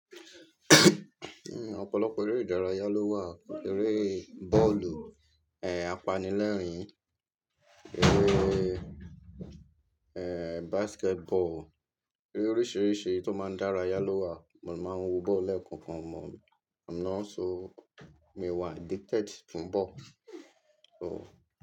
Ehn, ọ̀pọ̀lọpọ̀ eré ìdárayá ló wà. Eré bọ́ọ̀lù, eh, apanilẹ́rìn-ín, eré, eh, basketball, eré oríṣìíríṣìí tó máa ń dárayá ló wà. Mo máa ń wo bọ́ọ̀lù lẹ́kankan. I'm not so. Mi ò wa addicted fún bọ́ọ̀lù. So.